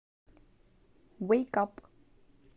вэйк ап